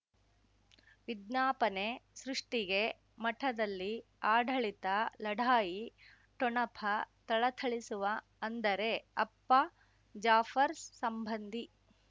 ವಿಜ್ಞಾಪನೆ ಸೃಷ್ಟಿಗೆ ಮಠದಲ್ಲಿ ಆಡಳಿತ ಲಢಾಯಿ ಠೊಣಪ ಥಳಥಳಿಸುವ ಅಂದರೆ ಅಪ್ಪ ಜಾಫರ್ ಸಂಬಂಧಿ